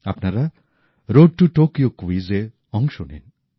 আপনারা road to Tokyo ক্যুইজে অংশ নিন